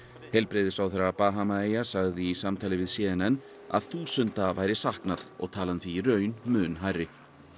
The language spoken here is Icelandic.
heilbrigðisráðherra Bahamaeyja sagði í samtali við c n n að þúsunda væri saknað og talan því í raun mun hærri